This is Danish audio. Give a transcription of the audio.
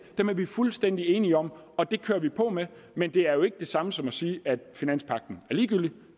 er vi fuldstændig enige om og det kører vi på med men det er jo ikke det samme som at sige at finanspagten er ligegyldig